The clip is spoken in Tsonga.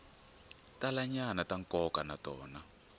talanyana ta nkoka na tona